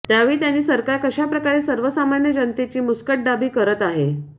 त्यावेळी त्यांनी सरकार कशाप्रकारे सर्वसामन्य जनतेची मुस्कटदाबी करत आहे